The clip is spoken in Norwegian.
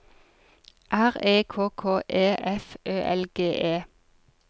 R E K K E F Ø L G E